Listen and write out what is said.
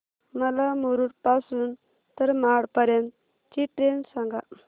मला मुरुड पासून तर महाड पर्यंत ची ट्रेन सांगा